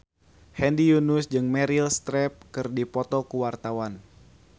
Hedi Yunus jeung Meryl Streep keur dipoto ku wartawan